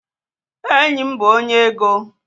Enyim bu onye ego